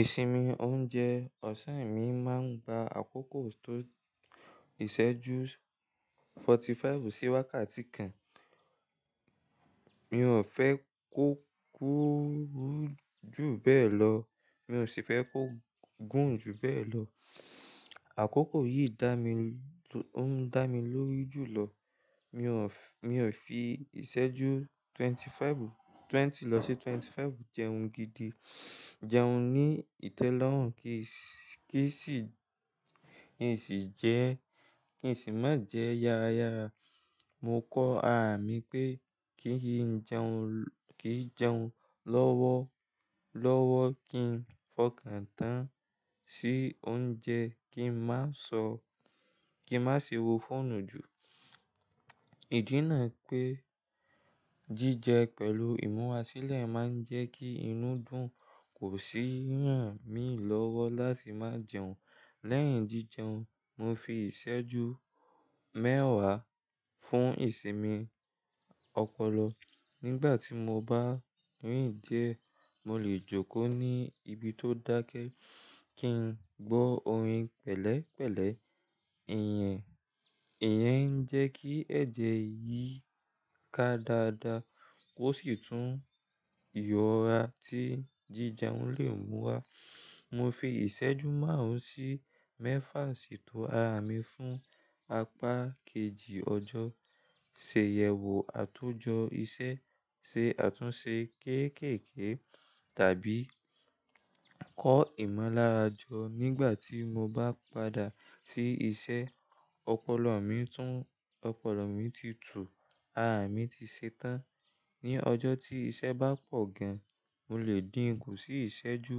Ìsinmi oúnjẹ ọ̀sán mi máa ń ba àkókò tó ìṣẹ́jú forty-five sí wákàtí kan. Mi ò fẹ́ kó kúrú jù bẹ́ẹ̀ lọ, mi ò sì fẹ́ kó gùn jù bẹ́ẹ̀ lọ. Àkókò yìí dá mi, ó ń dá mi lórí jùlọ. Mi ò f-- mi ò fi ìṣẹ́jú twenty-five, twenty lọ sí twenty-five jẹun gidi, jẹun ní ìtẹ́lọ́rùn kí sì, kí sì jẹ́, kí sì má jẹ́ yara yara. Mo kọ arà mi pé kí n jẹun, kí jẹun lọ́wọ́, lọ́wọ́ kí n fọkàn tán sí oúnjẹ, kí n má sọ, kí n má ṣe wo fóònù jù. Ìdí náà pé jíjẹ pẹ̀lú ìmúrásílẹ̀ máa ń jẹ́ kí inú dùn, kò sì hàn mí lọ́wọ́ láti má jẹun. Lẹ́yìn jíjẹun, mo fi ìṣẹ́jú mẹ́wàá fún ìsinmi ọpọlọ. Nígbà tí mo bá rìn diẹ́, mo lè jókòó ní ibi tó dákẹ́ kí n gbọ́ orin pẹ̀lẹ́pẹ̀lẹ́. Ìyẹn, ìyẹn ń jẹ́ kí ẹ̀jẹ̀ yí ká dáadáa, ó sì tún ìyọra tí jíjẹun lè mú wá. Mo fi ìṣẹ́jú márùn-ún sí mẹ́fà sí ìtò àmi fún apá kejì ọjọ́, ṣe ìyẹ̀wò àtúnjọ ìṣe, ṣe àtúnṣe kéékèèké tàbí kọ ìmọ̀lára jọ nígbà tí mo bá padà sí iṣẹ́. Ọpọlọ mi tún, ọpọlọ mi ti tù, àmi ti ṣetán. Ni ọjọ́ tí iṣẹ́ bá pọ̀ gan, mo lè dín kú sí ìṣẹ́jú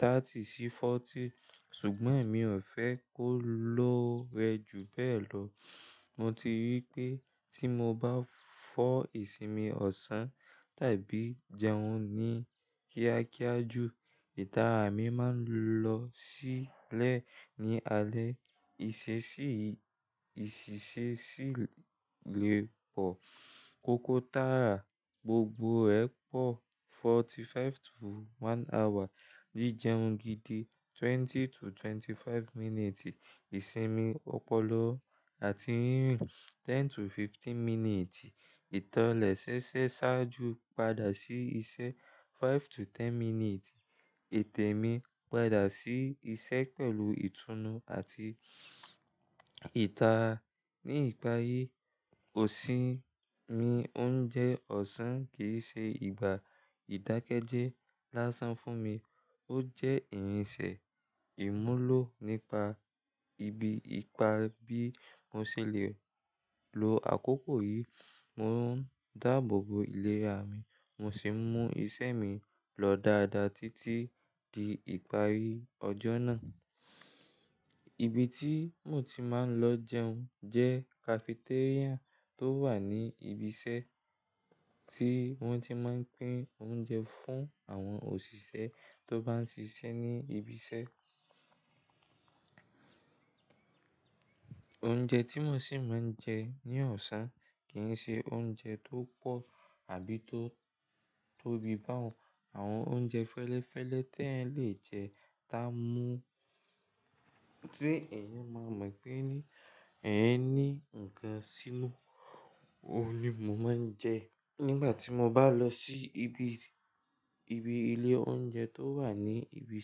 thirty sí forty, ṣùgbọ́n èmi ò fẹ́ kó lọ́rẹ́ jù bẹ́ẹ̀ lọ. Mo ti rí pé tí mo bá fọ ìsinmi ọ̀sán tàbí jẹun ní kíákíá jù, ìtara mi máa ń lọ sílẹ̀ ní alẹ́, ìṣẹ̀ṣẹ̀, ìṣẹ̀ṣẹ̀ sì lè pọ̀. Kọ́kọ́ tààrà gbogbo ẹ pọ̀ forty-five to one hour, jíjẹun gidi twenty to twenty-five minutes, ìsinmi ọpọlọ àti rírìn ten to fifteen minutes, ìtọlẹ̀ ṣéṣé ṣáájú padà sí iṣẹ́ five to ten minutes, ètè mi padà sí iṣẹ́ pẹ̀lú ìtúnu àti ìtara. Ní ìparí, òṣìn mi oúnjẹ ọ̀sán kì í ṣe ìgbà ìdákẹ́jẹ́ lásán fún mi, ó jẹ́ ìrìnṣẹ̀ ìmúlò nípa ibi ìpa bí mo ṣe lè lo àkókò yìí. Mo ń dáabo bo ilé à mi, mo sì ń mú ìṣe mi lọ dáadáa títí di ìparí ọjọ́ náà. Ibi tí mo ti máa ń lọ jẹun jẹ́ cafeteria tó wà ní ibi iṣẹ́ tí wọ́n ti máa ń pín oúnjẹ fún àwọn òṣìṣẹ́ tó bá ń ṣiṣẹ́ ní ibi iṣẹ́. Oúnjẹ tí mo sì máa ń jẹ ní ọ̀sán kì í ṣe oúnjẹ tó pọ̀ àbí tó, tó bí bá òun. Àwọn oúnjẹ fẹ́lẹ́fẹ́lẹ́ tí eyan lè jẹ tá mú tí èèyàn máa mọ̀ pé ní, ẹ ní ǹkan sínú òun ni mo máa ń jẹ nígbà tí mo bá lọ sí ibi, ibi ilé oúnjẹ tó wà ní ibi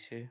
iṣẹ́.